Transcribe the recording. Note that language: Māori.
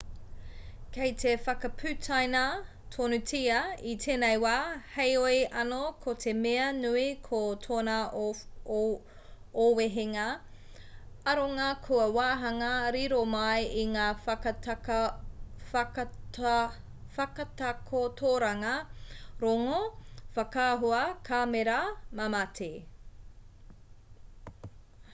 kei te whakaputaina tonutia i tēnei wā heoi anō ko te mea nui ko tōna ōwehenga aronga kua waahanga riro mai i ngā whakatakotoranga rongo whakaahua kāmera mamati